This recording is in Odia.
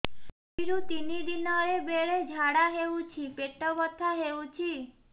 ଦୁଇରୁ ତିନି ଦିନରେ ବେଳେ ଝାଡ଼ା ହେଉଛି ପେଟ ବଥା ହେଉଛି